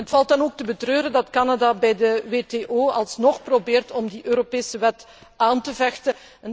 Het valt dan ook te betreuren dat Canada bij de WTO alsnog probeert om die Europese wet aan te vechten.